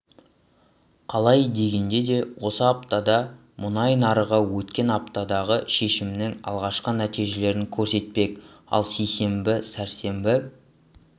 қалай дегенде де осы аптада мұнай нарығы өткен аптадағы шешімнің алғашқы нәтижелерін көрсетпек ал сейсенбі сәрсенбі